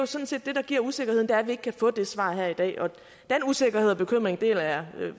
sådan set giver usikkerheden er at vi ikke kan få det svar her i dag og den usikkerhed og bekymring deler jeg